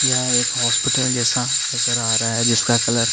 यहा एक हॉस्पिटल जेसा नज़र आ रहा है जिसका कलर --